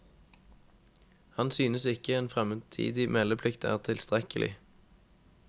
Han synes ikke en fremtidig meldeplikt er tilstrekkelig.